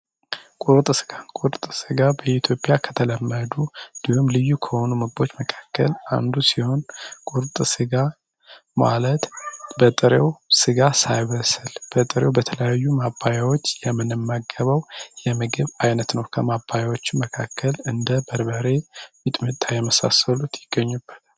ቁርጥ ስጋ ቁርጥ ስጋ በኢትዮጵያ ከተለመዱ እንዲሁም ልዩ ከሆኑ ምግቦች መካከል አንዱ ሲሆን ቁርጥ ስጋ ማለት በጥሪው ስጋ ሳይብስል በጥሪው በተለያዩ ማባያዎች የምንመገበው የምግብ ዓይነት ነው። ከማባያዎቹ መካከል እንደ በርበሬ ፣ምጥሚጣ የመሳሰሉት ይገኙበል።